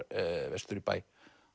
vestur í bæ